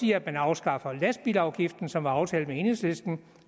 i at man afskaffer lastbilafgiften som var aftalt med enhedslisten